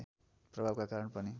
प्रभावका कारण पनि